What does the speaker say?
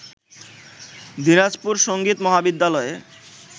দিনাজপুর সংগীত মহাবিদ্যালয়ে